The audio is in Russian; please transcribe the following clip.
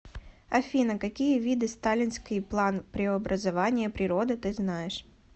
афина какие виды сталинский план преобразования природы ты знаешь